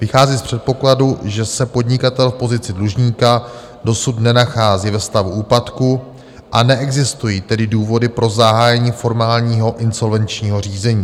Vychází z předpokladu, že se podnikatel v pozici dlužníka dosud nenachází ve stavu úpadku, a neexistují tedy důvody pro zahájení formálního insolvenčního řízení.